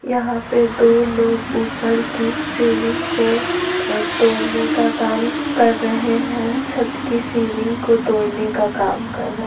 यहां पे दो लोग ऊपर की सीलिंग को अ-तोड़ने का काम कर रहे हैं छत कि सीलिंग को तोड़ने का काम कर रहे है।